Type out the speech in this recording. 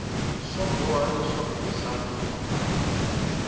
swa boha leswaku u hlamula